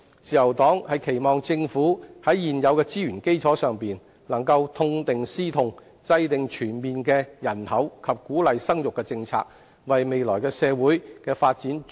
自由黨期望政府在現有的資源基礎上，能夠痛定思痛，制訂全面的人口及鼓勵生育政策，為未來社會的發展注入新動力。